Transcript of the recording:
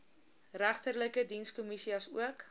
regterlike dienskommissie asook